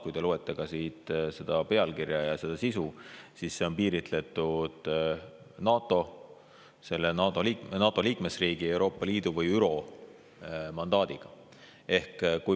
Kui te loete seda pealkirja ja ka sisu, siis näete, see on piiritletud NATO, NATO liikmesriigi, Euroopa Liidu või ÜRO mandaadiga.